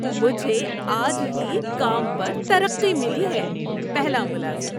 مجھے آج ہی کام پر ترقی ملی ہے۔ (پہلا ملازم)